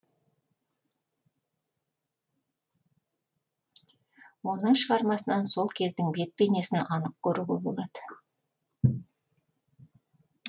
оның шығармасынан сол кездің бет бейнесін анық көруге болады